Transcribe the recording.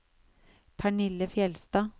Pernille Fjellstad